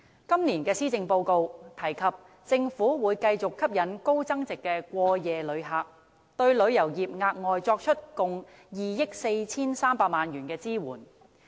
今年施政報告提出，政府會繼續吸引高增值的過夜旅客，並對旅遊業額外作出共2億 4,300 萬元的支援。